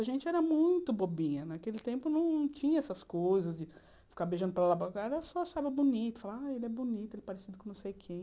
A gente era muito bobinha, naquele tempo não tinha essas coisas de ficar beijando para lá, para lá, era só achar bonito, falar, ah, ele é bonito, ele é parecido com não sei quem.